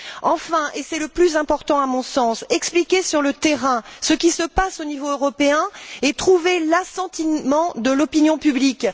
Enfin, et c'est le plus important à mon sens, expliquer sur le terrain ce qui se passe au niveau européen et trouver l'assentiment de l'opinion publique.